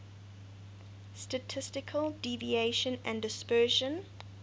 statistical deviation and dispersion